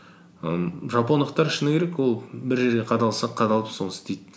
м жапондықтар шыны керек ол бір жерде қадалса қадалып соны істейді